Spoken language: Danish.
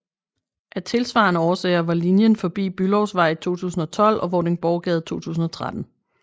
Af tilsvarende årsager var linjen forbi Bülowsvej i 2012 og Vordingborggade i 2013